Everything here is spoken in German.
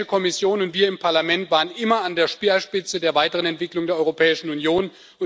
Die Europäische Kommission und wir im Parlament waren immer an der Speerspitze der Weiterentwicklung der Europäischen Union.